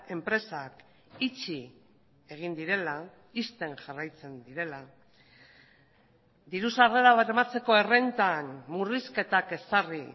enpresak itxi egin direla ixten jarraitzen direla diru sarrera bermatzeko errentan murrizketak ezarri